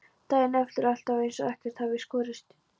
Daginn eftir er alltaf eins og ekkert hafi í skorist.